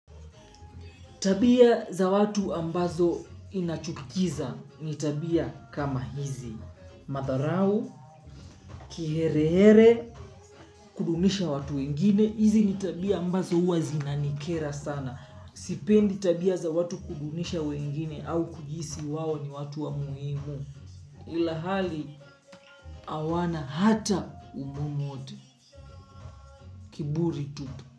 Tabia za watu ambazo niachukiza, ni tabia kama hizi. Madharau, kiherehere, kudunisha watu wengine, hizi ni tabia ambazo uwa zinanikera sana. Sipendi tabia za watu kudunisha wengine au kujihisi wao ni watu wa muhimu. Ilahali hawana hata u muhimu wote. Kiburi tupu.